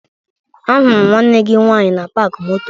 Ahụrụ m nwanne gị nwaanyị na paakị moto